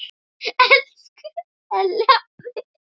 Elsku Elli afi.